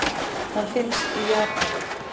Hann finnst í Japan.